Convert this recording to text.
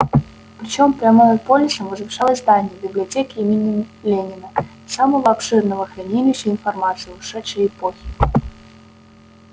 причём прямо над полисом возвышалось здание библиотеки имени ленина самого обширного хранилища информации ушедшей эпохи